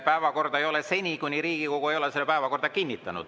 Päevakorda ei ole seni, kuni Riigikogu ei ole seda päevakorda kinnitanud.